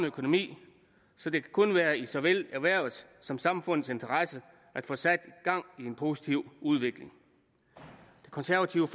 økonomien så det kan kun være i såvel erhvervets som samfundets interesse at få sat gang i en positiv udvikling det konservative